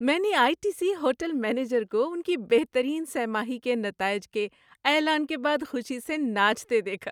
میں نے I T C hotel manager کو ان کی بہترین سہ ماہی کے نتائج کے اعلان کے بعد خوشی سے ناچتے دیکھا۔